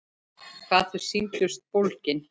Hvað þau sýndust bólgin!